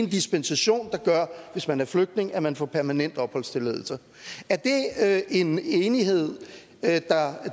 dispensation der gør hvis man er flygtning at man får permanent opholdstilladelse er det en enighed